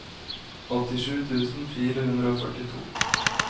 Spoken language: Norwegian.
åttisju tusen fire hundre og førtito